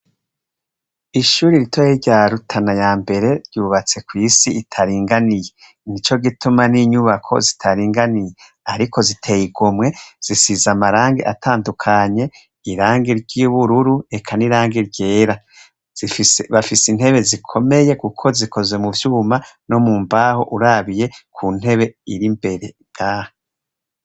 Ishuri ritoya rya Rutana yambere ryubatse kw'isi itaringaniye. Nico gutuma n'inyubako zitaringaniye. Ziteye igomwe, zisize amarangi atandukanye, irangi ry'ubururu eka n'irangi ryera. Bafise intebe zikomeye kuko zikozwe muvyuma no mumbaho urabiye kuntebe irimbere ngaha.